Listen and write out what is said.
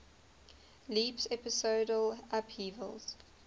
leaps episodal upheavals